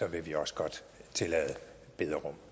vil vi også godt tillade bederum